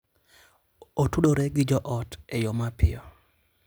Otudore gi joot e yo mapiyo.